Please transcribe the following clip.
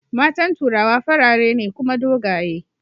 matan turawa farare ne Kuma dogaye